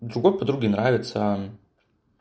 ничего подруге нравится он